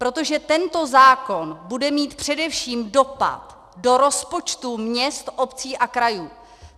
Protože tento zákon bude mít především dopad do rozpočtů měst, obcí a krajů.